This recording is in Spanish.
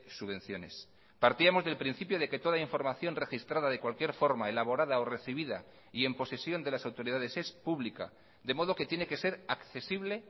subvenciones partíamos del principio de que toda información registrada de cualquier forma elaborada o recibida y en posesión de las autoridades es pública de modo que tiene que ser accesible